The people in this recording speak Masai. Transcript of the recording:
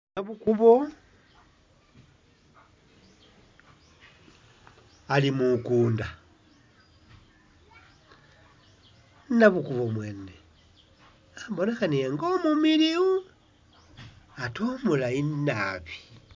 Nabukubo ali mukunda ,nabukubo mwene ibonekhana nga I omumiliyu ate omulayi nabi